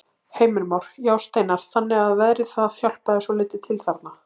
Heimir Már: Já, Steinar, þannig að veðrið það hjálpaði svolítið til þarna?